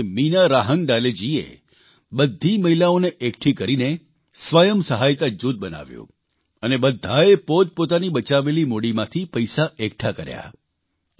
તેમાંથી મીના રાહંગડાલેજીએ બધી મહિલાઓને એકઠી કરીને સ્વયં સહાયતા જૂથ બનાવ્યું અને બધાએ પોતપોતાની બચાવેલી મૂડીમાંથી પૈસા એકઠા કર્યા